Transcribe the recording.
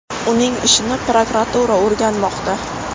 Uning ishini prokuratura o‘rganmoqda.